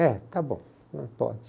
É, está bom, pode.